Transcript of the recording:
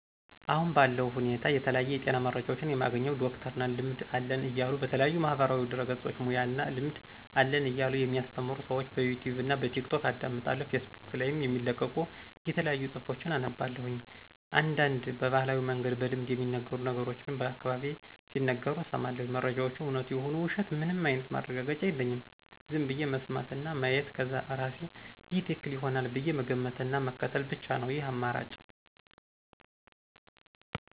አሁን ባለው ሁኔታ የተለያዩ የጤና መረጃዎችን የማገኘው ዶክተር ነን ልምድ አለን እያሉ በተለያዩ ማህበራዊ ድህረገጾች ሙያና እና ልምድ አለን እያሉ የሚአሰተምሩ ሰዎችን በዩቱብ እና በቲክቶክ አዳምጣለሁ ፌስቡክ ላይም የሚለቀቁ የተለያዩ ጽሁፎችን አነባለሁ፤ አንዳንድ በባህላዊ መንገድ በልምድ የሚነገሩ ነገሮችንም በአካባቢየ ሲነገሩ እሰማለሁ። መረጃወቹ እውነት ይሁኑ ውሸት ምንም አይነት ማረጋገጫ የለኝም ዝም ብዬ መስማት እና ማየት ከዛ እርሴ ይሄ ትክክል ይሆናል ብዬ መገመት እና ምክትል ብቻ ነው ይህን አማራጭ።